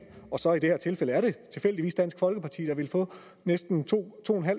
og så i det her tilfælde er det tilfældigvis dansk folkeparti der ville få næsten to